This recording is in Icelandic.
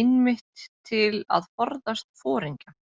einmitt til að forðast foringja.